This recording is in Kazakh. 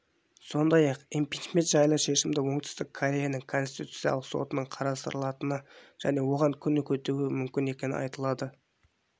сондай-ақ импичмент жайлы шешімді оңтүстік кореяның конституциялық сотының қарастырылатыны және оған күн кетуі мүмкін екені айтылады